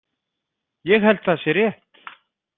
Ég held það sé rétt.